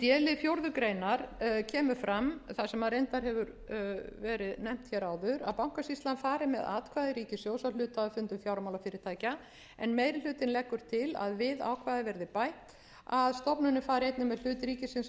í d lið fjórða grein kemur fram það sem reyndar hefur verið nefnt hér áður að bankasýslan fari með atkvæði ríkissjóðs á hluthafafundum fjármálafyrirtækja meiri hlutinn leggur til að við ákvæðið verði bætt að stofnunin fari einnig með hlut ríkisins á fundum stofnfjáreigenda í